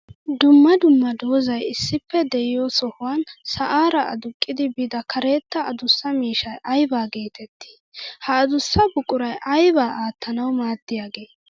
Dumma dumma doozay issippe de'iyo sohuwan sa'ara aduqqiddi biidda karetta adussa miishshay aybba geetetti? Ha adussa buquray aybba aattanawu maaddiyage?